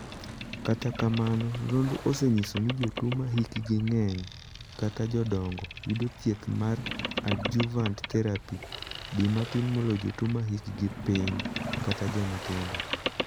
Kata kamano, nonro osenyiso ni jotuo ma hkgi ng'eny (jodongo), yudo thieth mar 'adjuvant therapy' di matin moloyo jotuo ma hikgi ni piny (jomatindo).